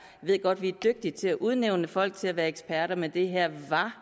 ved godt vi er dygtige til at udnævne folk til at være eksperter men det her